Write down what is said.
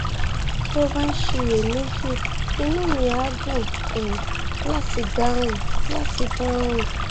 tó o bá ń ṣiyèméjì inú mi á dùn um láti dáhùn láti dáhùn